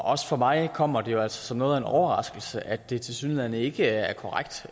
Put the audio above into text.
også for mig kommer det altså som noget af en overraskelse at det tilsyneladende ikke er korrekt